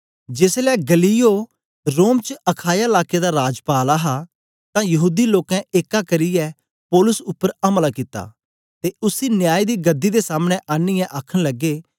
जेसलै गल्लियो रोम च अखाया लाके दा राजपाल हा तां यहूदी लोकें एक्का करियै पौलुस उपर अमला कित्ता ते उसी न्याय दी गदी दे सामने आनीयै आखन लगे